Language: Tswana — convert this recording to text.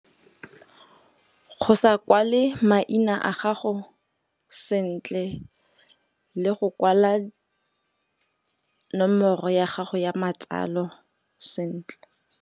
Go sa kwale maina a gago sentle le go kwala nomoro ya gago ya matsalo sentle.